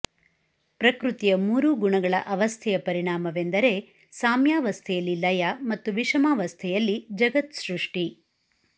ಪ್ರಕೃತಿಯ ಮೂರೂ ಗುಣಗಳ ಅವಸ್ಥೆಯ ಪರಿಣಾಮವೆಂದರೆ ಸಾಮ್ಯಾವಸ್ಥೆಯಲ್ಲಿ ಲಯ ಮತ್ತು ವಿಷಮಾವಸ್ಥೆಯಲ್ಲಿ ಜಗತ್ ಸೃಷ್ಟಿ